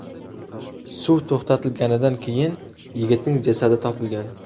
Suv to‘xtatilganidan keyin yigitning jasadi topilgan.